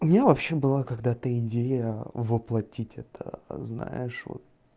у меня вообще было когда ты идея воплотить это знаешь вот